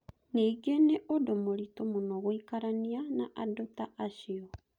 Ningĩ nĩ ũndũ mũritũ mũno gũikarania na andũ ta acio.